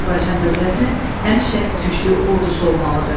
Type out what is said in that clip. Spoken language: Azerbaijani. Azərbaycan dövlətinin həmişə güclü ordusu olmalıdır.